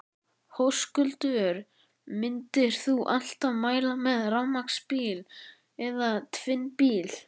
Höskuldur: Myndir þú alltaf mæla með rafmagnsbíla eða tvinnbíl?